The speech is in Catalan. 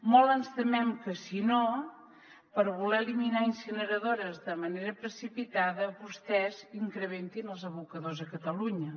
molt ens temem que si no per voler eliminar incineradores de manera precipitada vostès incrementin els abocadors a catalunya